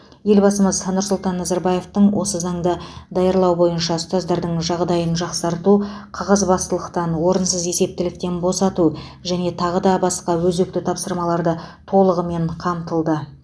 елбасымыз нұрсұлтан назарбаевтың осы заңды даярлау бойынша ұстаздардың жағдайын жақсарту қағазбасылықтан орынсыз есептіліктен босату және де тағы да басқа өзекті тапсырмаларды толығымен қамтылды